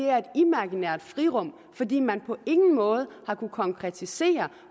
er et imaginært frirum fordi man på ingen måde har kunnet konkretisere